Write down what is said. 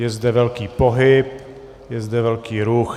Je zde velký pohyb, je zde velký ruch.